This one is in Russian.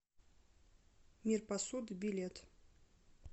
мир посуды билет